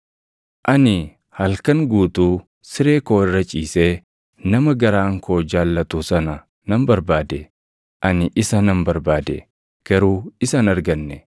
Ani halkan guutuu siree koo irra ciisee nama garaan koo jaallatu sana nan barbaade; ani isa nan barbaade; garuu isa hin arganne.